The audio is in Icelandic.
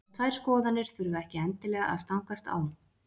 Þessar tvær skoðanir þurfa ekki endilega að stangast á.